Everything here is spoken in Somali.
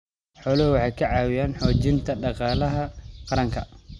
Xooluhu waxay ka caawiyaan xoojinta dhaqaalaha qaranka.